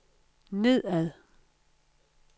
nedad